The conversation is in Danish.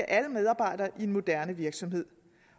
alle medarbejdere i en moderne virksomhed